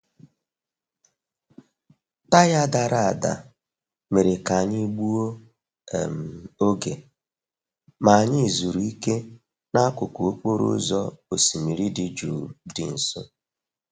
Taya dara ada mere ka anyị gbuo um oge, ma anyị zuru ike n'akụkụ okporo ụzọ osimiri dị jụụ dị nso.